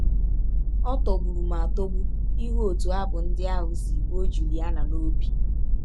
Ọ tọgbụrụ m atọgbu ịhụ ọtụ abụ ndị ahụ si rụọ Juliana n’ọbi!